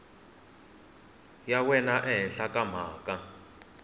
ya wena ehenhla ka mhaka